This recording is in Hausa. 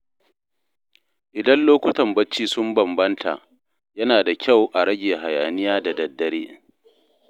Idan lokutan bacci sun bambanta, yana da kyau a rage hayaniya da daddare.